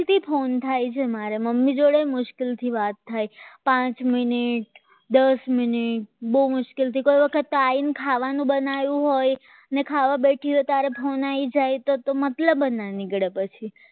કઈ થી phone થાય છે મારે મમ્મી જોડે મુશ્કેલથી વાત થાય પાંચ મિનિટ દસ મિનિટ બહુ મુશ્કેલથી કોઈ વખત તો આવવાનું કારણ બનાવે અને ખાવાનું બેઠા હોય ત્યારે phone મતલબ જ ના નીકળે પછી